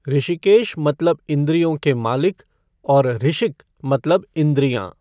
ऋषिकेश मलतब इंद्रियों के मालिक और ऋषिक मतलब इंद्रियाँ।